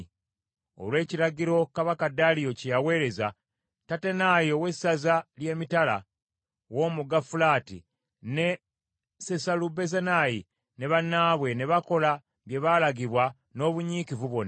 Olw’ekiragiro kabaka Daliyo kye yaweereza, Tattenayi ow’essaza ly’emitala w’omugga Fulaati, ne Sesalubozenayi ne bannaabwe ne bakola bye baalagibwa n’obunyiikivu bwonna.